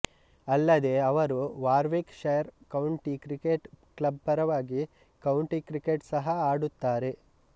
ಅಲ್ಲದೆ ಅವರು Warwickshire county cricket club ಪರವಾಗಿ ಕೌಂಟಿ ಕ್ರಿಕೆಟ್ ಸಹ ಆಡುತ್ತಾರೆ